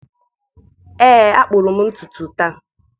ee a kpụrụ m ntutu taa.